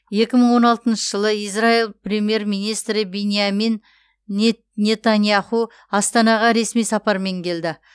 екі мың он алтыншы жылы израил премьер министрі биньямин нетаньяху астанаға ресми сапармен келді